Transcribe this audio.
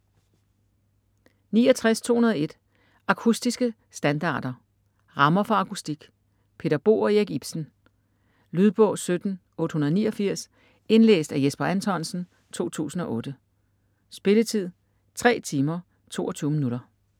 69.201 Akustiske standarder: rammer for akustik Peter Boe og Erik Ipsen Lydbog 17889 Indlæst af Jesper Anthonsen, 2008. Spilletid: 3 timer, 22 minutter.